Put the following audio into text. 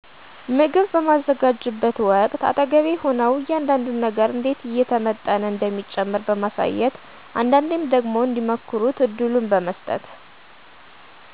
ምግብ በማዘጋጅበት ወቅት አጠገቤ ሆነው እያንዳዱን ነገር እንዴት እየተመጠነ እንደሚጨመር በማሳየት አንዳንዴም ደግሞ እንዲሞክሩ እድሉን በመሥጠት